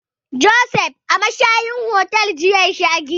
Josef a mashayar hotel ya sha giya jiya.